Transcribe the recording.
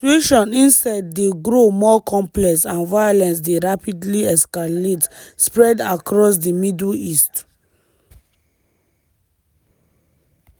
di situation instead dey grow more complex and violence dey rapidly escalate spread across di middle east.